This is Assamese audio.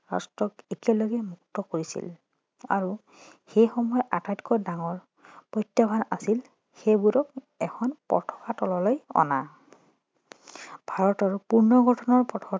ৰাষ্ট্ৰক একেলগে মুক্ত কৰিছিল আৰু সেই সময়ৰ আটাইতকা ডাঙৰ প্ৰত্যাহ্বান আছিল সেইবোৰক এখন পতাকাৰ তললৈ অনা ভাৰতৰ পূৰ্ণ গঠনৰ পথত